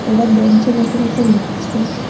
ওরা বেঞ্চে বসে বসে লিখছে।